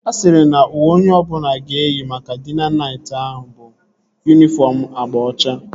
Ha sịrị na uwe onye ọbụla ga-eyi maka dina nayt ahụ bụ yunifọm agba ọcha